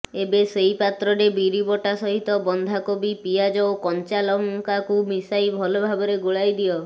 ଏବେ ସେଇ ପାତ୍ରରେ ବିରିବଟା ସହିତ ବନ୍ଧାକୋବି ପିଆଜ ଓ କଞ୍ଚାଲଙ୍କାକୁ ମିଶାଇ ଭଲ ଭାବରେ ଗୋଳାଇଦିଅ